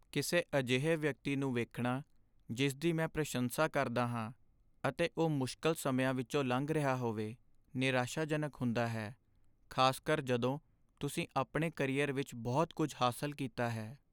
ਕਿਸੇ ਅਜਿਹੇ ਵਿਅਕਤੀ ਨੂੰ ਵੇਖਣਾ ਜਿਸ ਦੀ ਮੈਂ ਪ੍ਰਸ਼ੰਸਾ ਕਰਦਾ ਹਾਂ ਅਤੇ ਉਹ ਮੁਸ਼ਕਲ ਸਮਿਆਂ ਵਿੱਚੋਂ ਲੰਘ ਰਿਹਾ ਹੋਵੇ, ਨਿਰਾਸ਼ਾਜਨਕ ਹੁੰਦਾ ਹੈ , ਖ਼ਾਸਕਰ ਜਦੋਂ ਤੁਸੀਂ ਆਪਣੇ ਕਰੀਅਰ ਵਿੱਚ ਬਹੁਤ ਕੁੱਝ ਹਾਸਲ ਕੀਤਾ ਹੈ।